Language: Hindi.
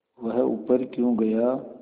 वह ऊपर क्यों गया